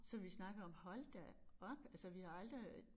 Så vi snakkede om hold da op altså vi har aldrig